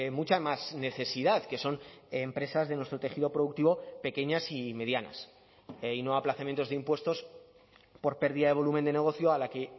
mucha más necesidad que son empresas de nuestro tejido productivo pequeñas y medianas y no aplazamientos de impuestos por pérdida de volumen de negocio a la que